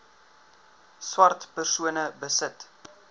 swart persone besit